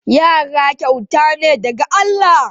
Yara kyauta ne daga Allah.